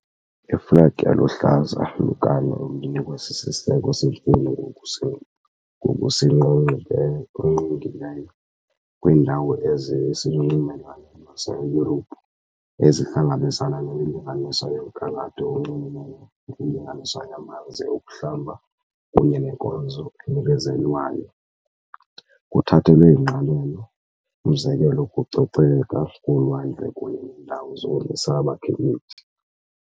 Iflegi eluhlaza lukano olunikwa siSiseko seMfundo ngokusiNgqongileyo kwiindawo eziselunxwemeni lwaseYurophu ezihlangabezana nemilinganiso yomgangatho onxulumene nemilinganiselo yamanzi okuhlamba kunye nenkonzo enikezelwayo, kuthathelwe ingqalelo umzekelo ukucoceka kolwandle kunye neendawo zokumisa abakhenkethi.